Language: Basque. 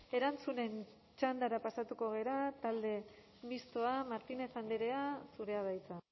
erantzunen txandara pasatuko gara talde mistoa martínez andrea zurea da hitza